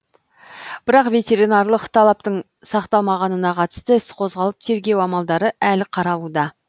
бірақ ветеринариялық талаптың сақталмағанына қатысты іс қозғалып тергеу амалдары әлі қаралуда